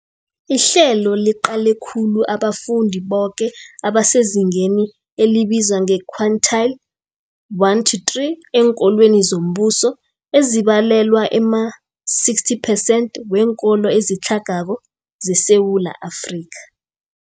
Ihlelo liqale khulu abafundi boke abasezingeni elibizwa nge-quintile 1-3 eenkolweni zombuso, ezibalelwa ema-60 percent weenkolo ezitlhagako zeSewula Afrika.